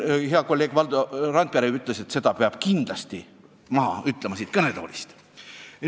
Hea kolleeg Valdo Randpere ütles, et seda peab siit kõnetoolist kindlasti ütlema.